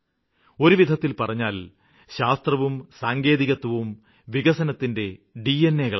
ഒരുവിധത്തില് പറഞ്ഞാല് ശാസ്ത്രവും സാങ്കേതികത്വും വികസനത്തിന്റെ ഉചഅകളാണ്